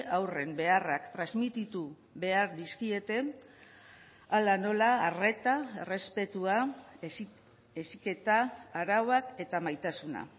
haurren beharrak transmititu behar dizkiete hala nola arreta errespetua heziketa arauak eta maitasuna